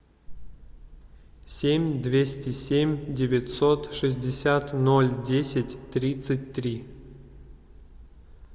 семь двести семь девятьсот шестьдесят ноль десять тридцать три